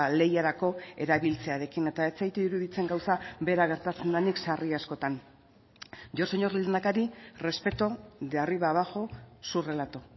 lehiarako erabiltzearekin eta ez zait iruditzen gauza bera gertatzen denik sarri askotan yo señor lehendakari respeto de arriba abajo su relato